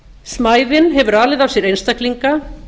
smæðin hefur alið af sér einstaklinga